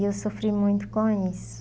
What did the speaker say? E eu sofri muito com isso.